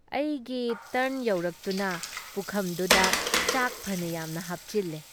ꯑꯩꯒꯤ ꯇꯔꯟ ꯌꯧꯔꯛꯇꯨꯅ ꯄꯨꯈꯝꯗꯨꯗ ꯆꯥꯛ ꯐꯅ ꯌꯥꯝꯅ ꯍꯥꯞꯆꯤꯜꯂꯦ ꯫